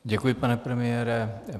Děkuji, pane premiére.